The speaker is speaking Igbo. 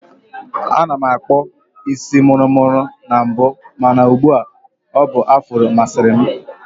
Ana m akpụbu isi mụrụ mụrụ na mbụ mana ụgbu a, ọ bụ afro masịrị m